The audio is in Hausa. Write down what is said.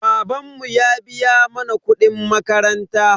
Babanmu ya biya mana kuɗin makaranta.